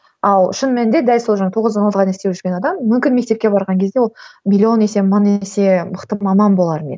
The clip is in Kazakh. ал шын мәнінде дәл сол жаңа тоғыздан алтыға дейін істеп жүрген адам мүмкін мектепке барған кезде ол миллион есе мың есе мықты маман болар ма еді